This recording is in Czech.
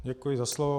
Děkuji za slovo.